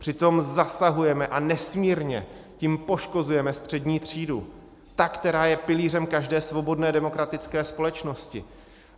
Přitom zasahujeme a nesmírně tím poškozujeme střední třídu, tu, která je pilířem každé svobodné, demokratické společnosti.